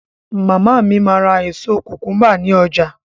Màmá mi máa ra èso kùkúńbà ní ọjà.